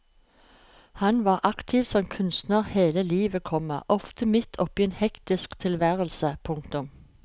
Han var aktiv som kunstner hele livet, komma ofte midt oppe i en hektisk tilværelse. punktum